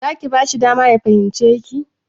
Za ki bashi dama ya fahimce ki?